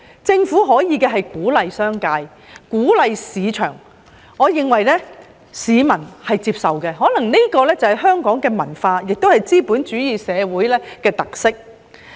政府可以鼓勵商界和市場，我認為市民是接受的，可能這是香港的文化，也是資本主義社會的特色。